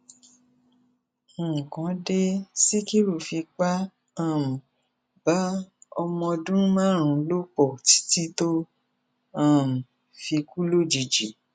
nǹkan dé síkírú fipá um bá ọmọọdún márùnún lò pọ títí tó um fi kú lòjijì